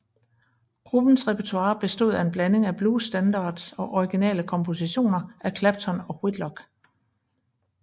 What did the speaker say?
Gruppens repertoire bestod af en blanding af blues standards og originale kompositioner af Clapton og Whitlock